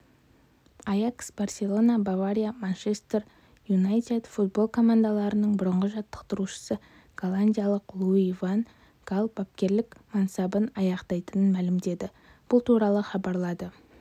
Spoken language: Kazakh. аякс барселона бавария манчестер юнайтед футбол командаларының бұрынғы жаттықтырушысы голландиялық луи ван гал бапкерлік мансабын аяқтайтынын мәлімдеді бұл туралы хабарлады